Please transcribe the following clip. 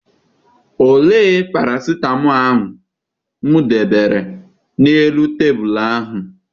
Olee parasịtamọọl ahụ m debere n'elu tebulu a?